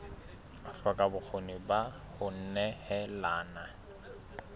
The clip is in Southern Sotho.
hloka bokgoni ba ho nehelana